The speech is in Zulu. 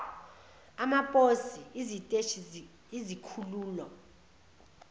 amaposi iziteshi izikhululo